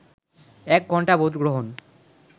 এক ঘণ্টা ভোটগ্রহণ